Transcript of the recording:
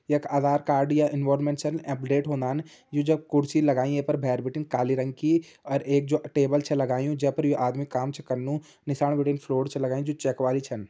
यख आधार कार्ड या अपडेट होंदन यू जब कुर्सी लगाईं येपर भेर बिटिन काली रंग की और एक जो टेबल च लगायुं जैपर यु आदमी काम च कन्नु नीसाण बीटिन फ्लोर छ लगाईं जू चेक वाली छन।